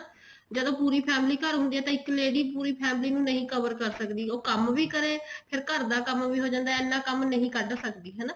ਜਦੋਂ ਪੂਰੀ family ਘਰ ਹੁੰਦੀ ਆ ਇੱਕ lady ਪੂਰੀ family ਨੂੰ ਨਹੀਂ cover ਕਰ ਸਕਦੀ ਉਹ ਕੰਮ ਵੀ ਕਰੇ ਫ਼ੇਰ ਘਰ ਦਾ ਕੰਮ ਵੀ ਹੋ ਜਾਂਦਾ ਇੰਨਾ ਕੰਮ ਨਹੀਂ ਕੱਡ ਸਕਦੀ ਹਨਾ